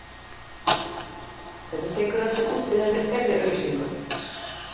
Hvernig tekur hann sig út í þeirri auglýsingu?